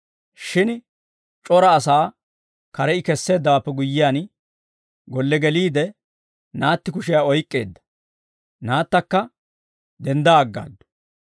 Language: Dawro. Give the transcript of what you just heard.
Shin c'ora asaa kare I kesseeddawaappe guyyiyaan, golle geliide, naatti kushiyaa oyk'k'eedda; naattakka dendda aggaaddu.